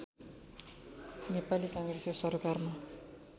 नेपाली काङ्ग्रेसको सरकारमा